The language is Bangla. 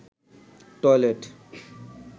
টয়লেট